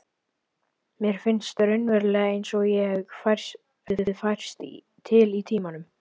Mér finnst raunverulega einsog ég hafi færst til í tímanum.